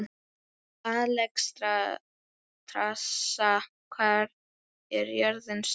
Alexstrasa, hvað er jörðin stór?